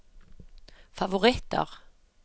favoritter